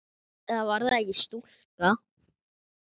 Eða var það ekki stúlka?